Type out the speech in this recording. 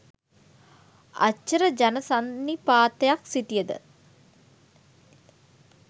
අච්චර ජන සන්නිපාතයක් සිටිය ද